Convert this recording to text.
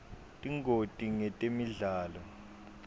tingoti ngetemidlalo